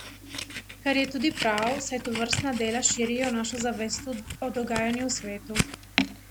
Kar je tudi prav, saj tovrstna dela širijo našo zavest o dogajanju v svetu.